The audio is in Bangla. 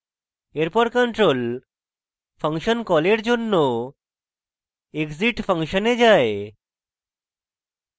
এরপর control ফাংশন কলের জন্য exit _ function এ যায়